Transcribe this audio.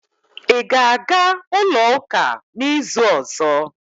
Ị ga-aga ulo uka n'izu ọzọ?